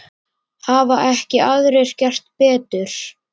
Hafa ekki aðrir gert betur.